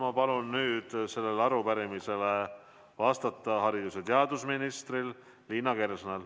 Ma palun sellele arupärimisele vastata haridus‑ ja teadusminister Liina Kersnal.